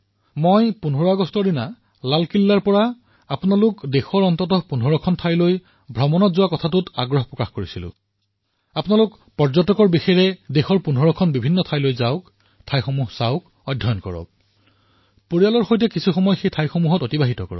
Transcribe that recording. ১৫ আগষ্টত লালকিল্লাৰ পৰা মই আপোনালোক সকলোকে আহ্বান জনাইছিলো যে অহা ৩ বছৰত কমেও ১৫টা স্থান আৰু ভাৰতৰ ভিতৰত ১৫টা স্থান সম্পূৰ্ণ ১০০ পৰ্যটনৰ বাবেই এনেকুৱা ১৫টা স্থানলৈ যাওক চাওক অধ্যয়ন কৰক পৰিয়ালক লৈ যাওক অলপ সময় কটাওক